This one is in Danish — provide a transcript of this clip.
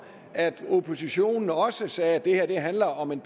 at oppositionen også sagde at det her handler om en